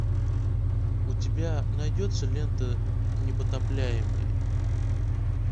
у тебя найдется лента непотопляемые